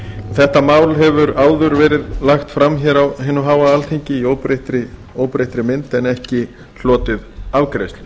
þetta mál hefur áður verið lagt fram hér á hinu háa alþingi í óbreyttri mynd en ekki hlotið afgreiðslu